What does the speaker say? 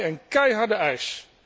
Dat is voor mij een keiharde eis.